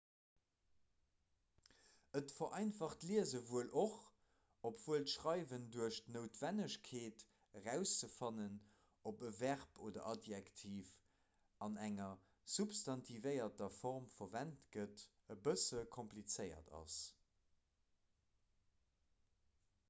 et vereinfacht d'liese wuel och obwuel d'schreiwen duerch d'noutwennegkeet erauszefannen ob e verb oder adjektiv an enger substantivéierter form verwent gëtt e bësse komplizéiert ass